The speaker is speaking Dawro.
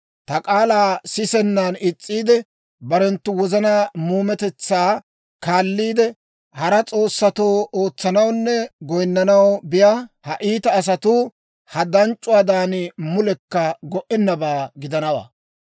Ta k'aalaa sisennan is's'iide, barenttu wozanaa muumetetsaa kaalliide, hara s'oossatoo ootsanawunne goyinnanaw biyaa ha iita asatuu, ha danc'c'uwaadan mulekka go"ennabaa gidanawaa.